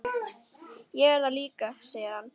Ég er það líka, segir hann.